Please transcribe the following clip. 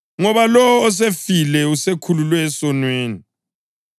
ngoba lowo osefile usekhululwe esonweni.